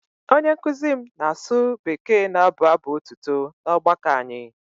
Onye nkụzi m na-asụ Bekee na-abụ abụ̀ otuto na ọgbakọ anyị.